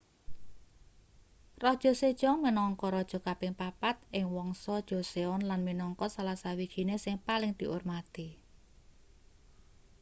raja sejong minangka raja kaping papat ing wangsa joseon lan minangka salah sawijining sing paling diurmati